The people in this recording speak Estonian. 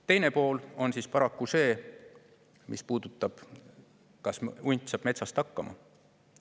Teine pool on siis paraku see, mis puudutab seda, kas hunt saab metsas hakkama.